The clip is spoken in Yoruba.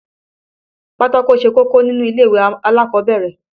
Pátákó ṣe kókó nílè ìwé alákọ̀ọ́bẹ̀rẹ̀